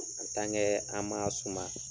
an m'a suma.